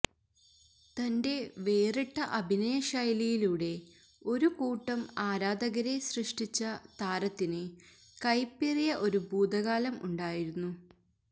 തന്റെ വേറിട്ട അഭിനയശൈലിയിലൂടെ ഒരുകൂട്ടം ആരാധകരെ സൃഷ്ടിച്ച താരത്തിനു കയ്പേറിയ ഒരു ഭൂതകാലം ഉണ്ടായിരുന്നു